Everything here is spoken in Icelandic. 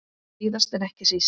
Síðast en ekki síst.